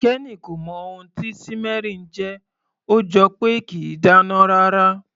Kenny kò mọ ohun tí simmering jẹ́, ó jọ pé kìí dáná rárá.